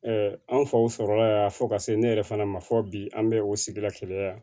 an faw sɔrɔla yan fɔ ka se ne yɛrɛ fana ma fo bi an bɛ o sigida kelen na yan